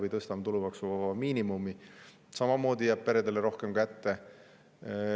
Me tõstame tulumaksuvaba miinimumi – samamoodi jääb peredele rohkem kätte.